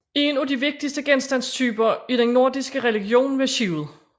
En af de vigtigste genstandstyper i den nordiske religion var skibet